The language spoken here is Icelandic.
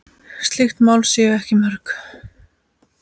Slík mál séu ekki mörg.